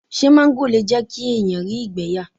Ṣé máńgò le jẹ́ kí èèyàn rí ìgbẹ́ yà?